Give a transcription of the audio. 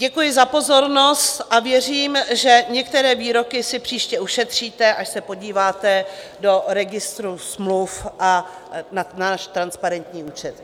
Děkuji za pozornost a věřím, že některé výroky si příště ušetříte, až se podíváte do Registru smluv a na náš transparentní účet.